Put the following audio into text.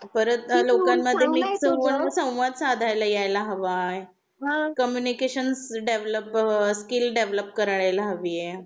परत लोकांमध्ये मिक्सउप होऊन संवाद साधायला यायला हवा आहे हा कम्युनिकेशन डेव्हलप स्किल डेव्हलप करायला यायला हवी आहे